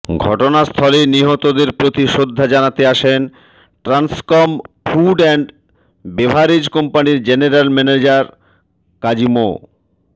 ঘটনাস্থলে নিহতদের প্রতি শ্রদ্ধা জানাতে আসেন ট্রান্সকম ফুড অ্যান্ড বেভারেজ কোম্পানির জেনালে ম্যানেজার কাজী মো